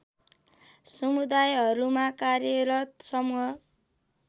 समुदायहरूमा कार्यरत समूह